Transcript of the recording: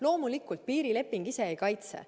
Loomulikult piirileping ise ei kaitse.